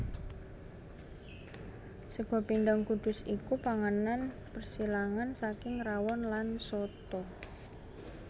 Sega Pindhang Kudus iku panganan persilangan saking rawon lan soto